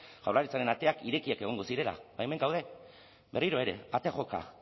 jaurlaritzaren ateak irekiak egongo zirela hemen gaude berriro ere ate joka